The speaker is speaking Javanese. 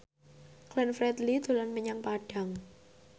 Glenn Fredly dolan menyang Padang